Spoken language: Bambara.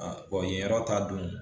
yen yɔrɔ ta dun